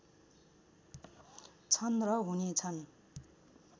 छन् र हुने छन्